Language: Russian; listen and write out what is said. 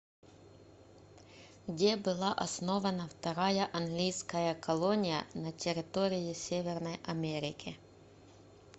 где была основана вторая английская колония на территории северной америки